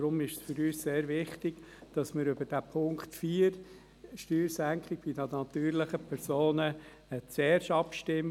Deshalb ist es für uns sehr wichtig, dass wir über Punkt 4, Steuersenkung bei natürlichen Personen, zuerst abstimmen.